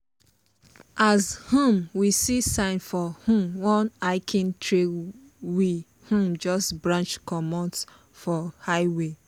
as um we see sign for um one hiking trail we um just branch comot for highway.